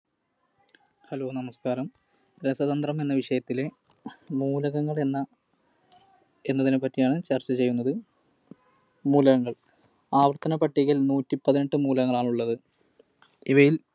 Hello നമസ്കാരം! രസതന്ത്രം എന്ന വിഷയത്തിലെ മൂലകങ്ങൾ എന്ന എന്നതിനെ പറ്റിയാണ് ചർച്ച ചെയ്യുന്നത്. മൂലകങ്ങൾ. ആവർത്തന പട്ടികയിൽ നൂറ്റി പതിനെട്ടു മൂലകങ്ങളാണുള്ളത്. ഇവയിൽ